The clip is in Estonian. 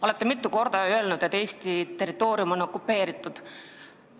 Olete mitu korda öelnud, et Eesti territoorium on okupeeritud.